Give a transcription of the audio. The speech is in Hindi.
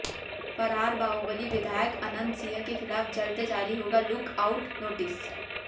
फरार बाहुबली विधायक अनंत सिंह के खिलाफ जल्द जारी होगा लुक आउट नोटिस